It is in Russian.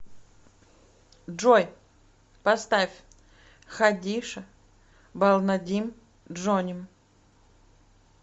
джой поставь хадиша балнадим джоним